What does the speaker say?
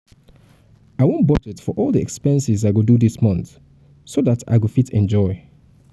i wan budget for all the expenses i go do dis month so dat i go fit enjoy